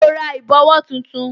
Ṣé o ra ìbòwó tuntun